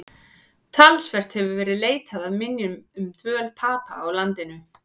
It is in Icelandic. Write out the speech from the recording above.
Talsvert hefur verið leitað að minjum um dvöl Papa í landinu.